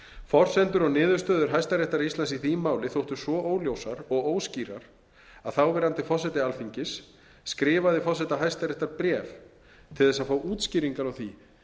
forsendur og niðurstöður hæstaréttar í því máli þóttu svo óljósar og óskýrar að þáverandi forseti alþingis skrifaði forseta hæstaréttar bréf til að fá útskýringar á því